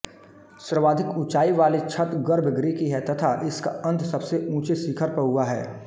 सर्वाधिक ऊँचाईवाली छत गर्भगृह की है तथा इसका अंत सबसे ऊँचे शिखर पर हुआ है